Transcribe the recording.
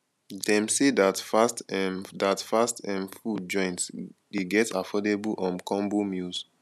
dem sey dat fast um dat fast um food joint dey get affordable um combo meals